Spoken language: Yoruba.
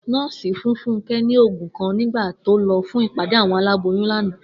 Nó̩ò̩sì fún Fúnké̩ ní àwo̩n ògùn kan nígbà tó lo̩ fún ìpàdé àwo̩n aláboyún lánàá